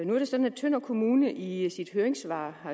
nu er det sådan at tønder kommune i i sit høringssvar